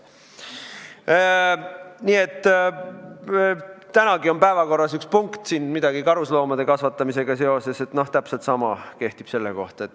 Tänagi on päevakorras üks punkt, midagi karusloomade kasvatamisega seoses – täpselt sama kehtib selle kohta.